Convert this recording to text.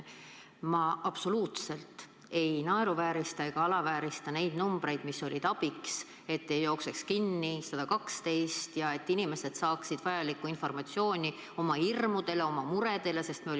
Ma absoluutselt ei naeruväärista ega alaväärista neid numbreid, mis olid abiks, et 112 kinni ei jookseks ja et inimesed saaksid vajalikku informatsiooni oma hirmude ja murede leevendamiseks.